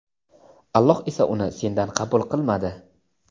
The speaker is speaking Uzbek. Alloh esa uni sendan qabul qilmadi.